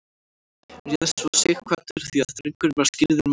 réð svo sighvatur því að drengurinn var skírður magnús